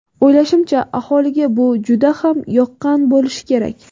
O‘ylashimcha, aholiga bu juda ham yoqqan bo‘lishi kerak.